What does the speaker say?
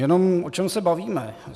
Jenom o čem se bavíme.